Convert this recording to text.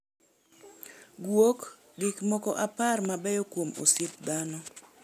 Gwok: Gikmoko apar mabeyo kuom osiep dhano